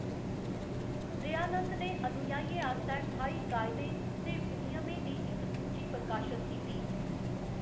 दयानंद ने अनुयायियें आस्तै ठाई कायदें ते विनियमें दी इक सूची प्रकाशत कीती।